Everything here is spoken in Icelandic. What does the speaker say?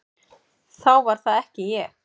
Þá var það ekki ég!